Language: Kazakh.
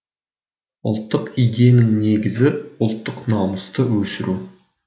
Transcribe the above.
ұлттық идеяның негізі ұлттық намысты өсіру